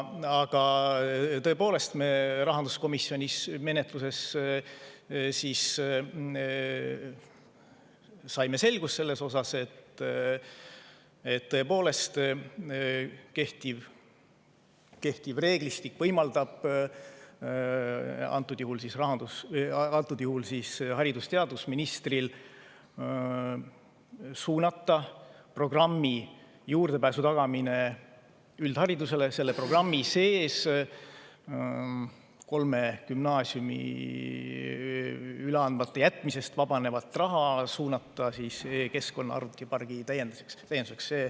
Aga tõepoolest, me rahanduskomisjonis menetluse jooksul saime selgust, et kehtiv reeglistik võimaldab antud juhul siis haridus‑ ja teadusministril suunata üldharidusele juurdepääsu tagamise programmi sees kolme gümnaasiumi üleandmata jätmisest vabaneva raha e‑keskkonna arvutipargi täienduseks.